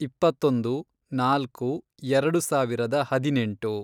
ಇಪ್ಪತ್ತೊಂದು, ನಾಲ್ಕು, ಎರೆಡು ಸಾವಿರದ ಹದಿನೆಂಟು